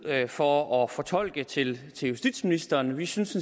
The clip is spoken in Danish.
for at fortolke til justitsministeren vi synes